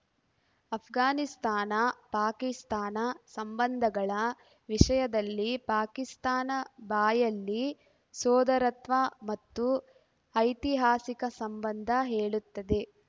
ಅಫ್ಘಾನಿಸ್ತಾನ ಪಾಕಿಸ್ತಾನ ಸಂಬಂಧಗಳ ವಿಷಯದಲ್ಲಿ ಪಾಕಿಸ್ತಾನ ಬಾಯಲ್ಲಿ ಸೋದರತ್ವ ಮತ್ತು ಐತಿಹಾಸಿಕ ಸಂಬಂಧ ಹೇಳುತ್ತದೆ